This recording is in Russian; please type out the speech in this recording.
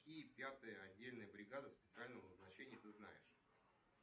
какие пятые отдельные бригады специального назначения ты знаешь